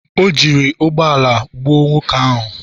o jiri ụgbọ ala ya gbuo nwoke ahụ